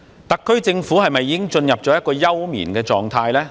特區政府是否已經進入休眠狀態？